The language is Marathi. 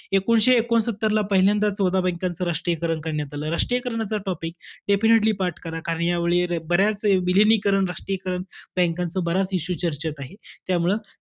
एकोणीसशे एकोणसत्तरला पहिल्यांदा चौदा bank च राष्ट्रीयकरण करण्यात आलं. राष्ट्रीयकरणाचा topic definitely पाठ करा. कार्यावळी, बऱ्याच विलीनीकरण, राष्ट्रीयकरण bank च बऱ्याच issue चर्चेत आहेत. त्यामुळं,